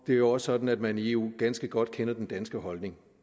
det er jo sådan at man i eu ganske godt kender den danske holdning